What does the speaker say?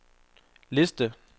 liste